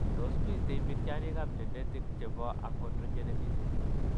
Tos' miten mityaaniikap genetic che po achondrogenesis?